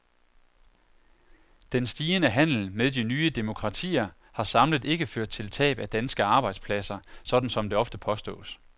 Den stigende handel med de nye demokratier har samlet ikke ført til tab af danske arbejdspladser, sådan som det ofte påstås.